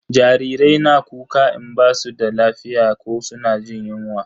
Jarirai na kuka in ba su da lafiya ko suna jin yunwa